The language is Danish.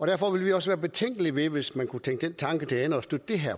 derfor vil vi også være betænkelige hvis man kunne tænke den tanke til ende og støtte det her